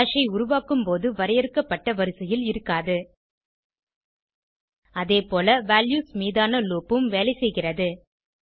hash ஐ உருவாக்கும்போது வரையறுக்கப்பட்ட வரிசையில் இருக்காது அதேபோல வால்யூஸ் மீதான லூப் உம் வேலைசெய்கிறது